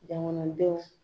Dan kɔnɔ bɛ